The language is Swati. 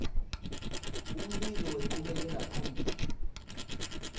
umbiko wenchubekela phambili